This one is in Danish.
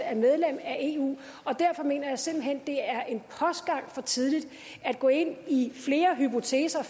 er medlem af eu og derfor mener jeg simpelt hen det er en postgang for tidligt at gå ind i flere hypoteser